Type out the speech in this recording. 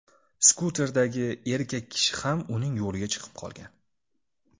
Skuterdagi erkak kishi ham uning yo‘liga chiqib qolgan.